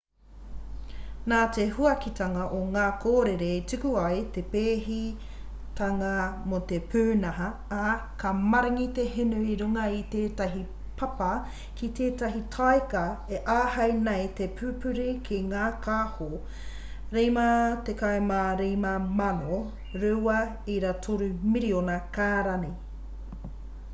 nā te huakitanga o ngā kōrere i tuku ai te pēhitanga mō te pūnaha ā ka maringi te hinu ki runga i tētahi papa ki tētahi taika e āhei nei te pupuri ki ngā kāho 55,000 2.3 miriona kārani